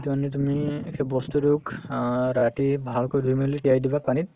সেইটো আনিলে তুমি বস্তুতোক অ ৰাতি ভালকৈ ধুই মেলি তিয়াই দিবা পানীত